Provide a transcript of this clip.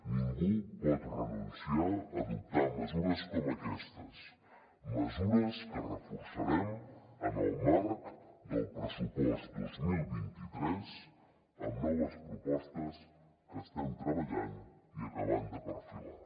ningú pot renunciar a adoptar mesures com aquestes mesures que reforçarem en el marc del pressupost dos mil vint tres amb noves propostes que estem treballant i acabant de perfilar